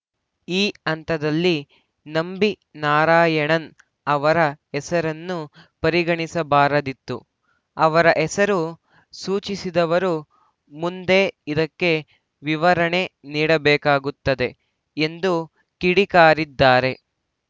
ಈ ಹಂತದಲ್ಲಿ ನಂಬಿ ನಾರಾಯಣನ್‌ ಅವರ ಹೆಸರನ್ನು ಪರಿಗಣಿಸಬಾರದಿತ್ತು ಅವರ ಹೆಸರು ಸೂಚಿಸಿದವರು ಮುಂದೆ ಇದಕ್ಕೆ ವಿವರಣೆ ನೀಡಬೇಕಾಗುತ್ತದೆ ಎಂದು ಕಿಡಿಕಾರಿದ್ದಾರೆ